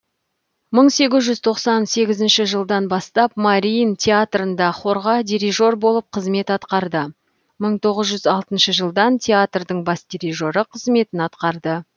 мың сегіз жүз тоқсан сегізінші жылдан бастап мариин театрында хорға дирижер болып қызмет атқарды мың тоғыз жүз алтыншы жылдан театрдың бас дирижері қызметін атқарды